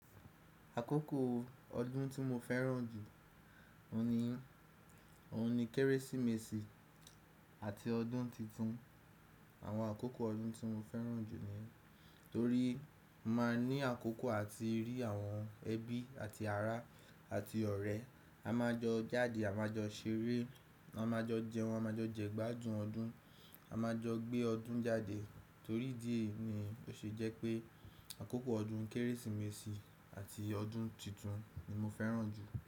Àkókò ọdún tí mo fẹ́ràn jù, òun ni, òun ni Kérésìmesì àti ọdún titun. Àwọn àkókò ọdún tí mo fẹ́ràn jù ni, torí máa ní àkókò àti rí àwọn ẹbí àti ará àti ọ̀rẹ́, a máa jọ jáde, a máa jọ ṣeré, a máa jọ jẹun, a máa jo jẹ gbádun ọdún, a máa jọ gbé ọdún jáde. Torí ìdí èyí ni ó ṣe jẹ́ pé àkókò ọdún Kérésìmesì àti ọdún titun ni mo fẹ́ràn jù.